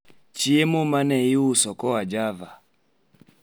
chiemo ma ne iuso koa java